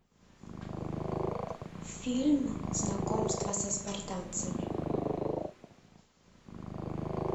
фильм знакомство со спартанцами